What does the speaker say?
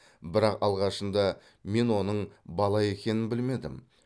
бірақ алғашында мен оның бала екенін білмедім